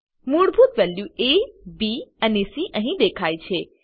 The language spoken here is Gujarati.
મૂળભૂત વેલ્યુ એ બી અને સી અહી દેખાય છે